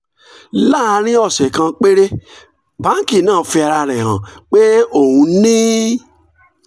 láàárín ọ̀sẹ̀ kan péré báńkì náà fi ara rẹ̀ hàn pé òun ni